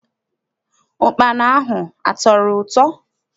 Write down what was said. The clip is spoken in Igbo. Ukpana ahụ atọrọ ụtọ?